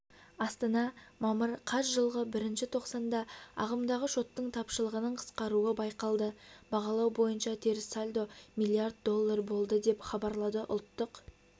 астана мамыр қаз жылғы бірінші тоқсанда ағымдағы шоттың тапшылығының қысқаруы байқалды бағалау бойынша теріс сальдо млрд долл болды деп хабарлады ұлттық